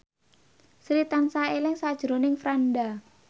Sri tansah eling sakjroning Franda